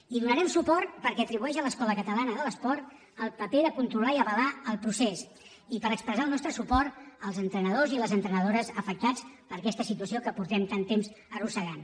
hi donarem suport perquè atribueix a l’escola catalana de l’esport el paper de controlar i avalar el procés i per expressar el nostre suport als entrenadors i les entrenadores afectats per aquesta situació que fa tant temps que arrosseguem